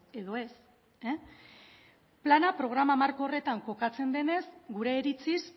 edo ez plana programa marko horretan kokatzen denez gure iritziz